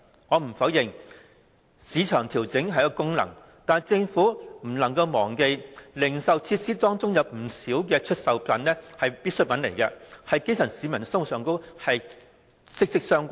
我不否認市場調整的功能，但政府不能忘記，在零售設施方面，有不少必需品與基層市民的生活息息相關。